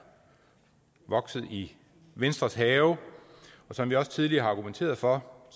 vokset i venstres have og som vi også tidligere har argumenteret for